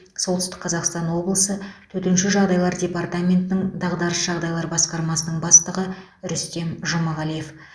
солтүстік қазақстан облысы төтенше жағдайлар департаментінің дағдарыс жағдайлар басқармасының бастығы рүстем жұмағалиев